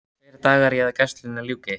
Tveir dagar í að gæslunni ljúki.